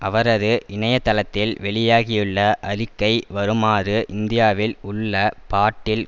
அவரது இணையதளத்தில் வெளியாகியுள்ள அறிக்கை வருமாறு இந்தியாவில் உள்ள பாட்டில்